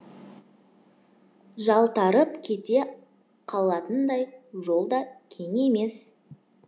жалтарып кете қалатындай жол да кең емес